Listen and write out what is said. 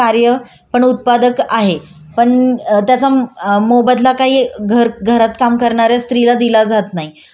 आणि कितीही तिने काम केलं तरी सुद्धा तिला असं म्हटलं जातं की तू घरात बसून करती काय काय काम असतं तुला.